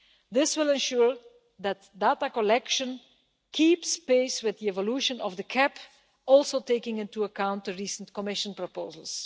This will ensure that data collection keeps pace with the evolution of the CAP, taking into account, too, the recent Commission proposals.